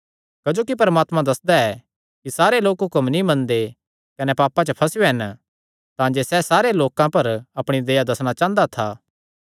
क्जोकि परमात्मा दस्सदा ऐ कि सारे लोक हुक्म नीं मनदे कने पापां च फसेयो हन तांजे सैह़ सारे लोकां पर अपणी दया दस्सणा चांह़दा था